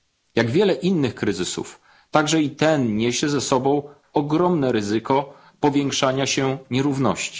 Jak wiele innych kryzysów, także i ten niesie ze sobą ogromne ryzyko powiększania się nierówności.